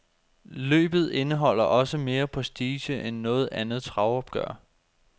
Løbet indeholder også mere prestige end noget andet travopgør.